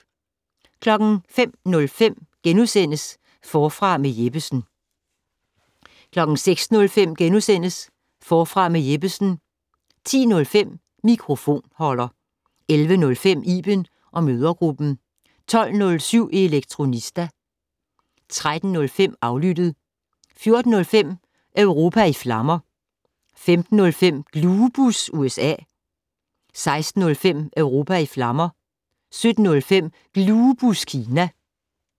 05:05: Forfra med Jeppesen * 06:05: Forfra med Jeppesen * 10:05: Mikrofonholder 11:05: Iben & mødregruppen 12:07: Elektronista 13:05: Aflyttet 14:05: Europa i flammer 15:05: Glubus USA 16:05: Europa i flammer 17:05: Glubus Kina